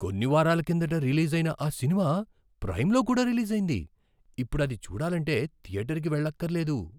కొన్ని వారాల కిందట రిలీజైన ఆ సినిమా ప్రైమ్లో కూడా రిలీజైంది! ఇప్పుడు అది చూడాలంటే థియేటర్కి వెళ్లక్కర్లేదు!